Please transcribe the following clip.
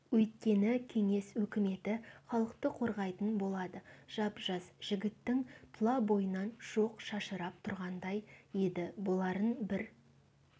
өйткені кеңес өкіметі халықты қорғайтын болады жап-жас жігіттің тұла бойынан шоқ шашырап тұрғандай еді боларын бір